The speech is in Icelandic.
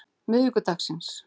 miðvikudagsins